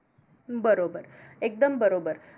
बरोबर. एकदम बरोबर.